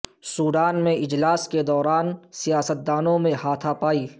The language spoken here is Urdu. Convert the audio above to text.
سوڈان میں اجلاس کے دوران سیاستدانوں میں ہاتھا پائی